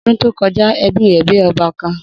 Odun to koja, ebi re gbe oba kan